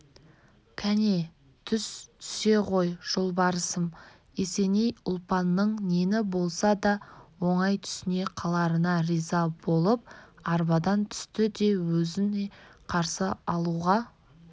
кәне түс түсе ғой жолбарысым есеней ұлпанның нені болса да оңай түсіне қаларына риза болып арбадан түсті де өзін қарсы алуға